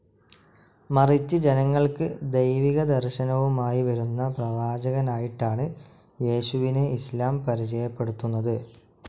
മറിച്ച് ജനങ്ങൾക്ക് ദൈവികദർശനവുമായി വരുന്ന പ്രവാചകനായിട്ടാണ് യേശുവിനെ ഇസ്‌ലാം പരിചയപ്പെടുത്തുന്നത്.